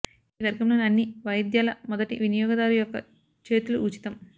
ఈ వర్గంలోని అన్ని వాయిద్యాల మొదటి వినియోగదారు యొక్క చేతులు ఉచితం